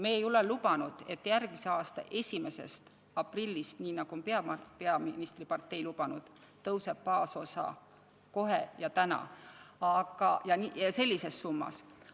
Me ei ole lubanud, et järgmise aasta 1. aprillist, nii nagu on lubanud peaministripartei, tõuseb baasosa kohe ja täna ja sellises summas.